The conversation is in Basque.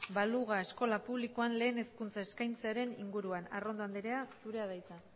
baluga eskola publikoan lehen hezkuntza eskaintzearen inguruan arrondo andrea zurea da hitza